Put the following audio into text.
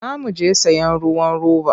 Za mu je sayen ruwan roba.